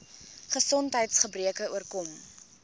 gesondheids gebreke oorkom